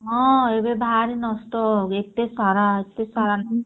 ହଁ ଏବେ ଭାରୀ ନଷ୍ଟ ଏତେ ସାରା ଏତେ ସାରା ନଷ୍ଟ